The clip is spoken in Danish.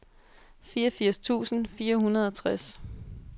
fireogfirs tusind fire hundrede og tres